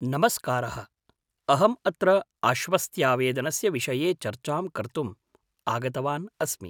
नमस्कारः, अहम् अत्र आश्वस्त्यावेदनस्य विषये चर्चां कर्तुम् आगतवान् अस्मि।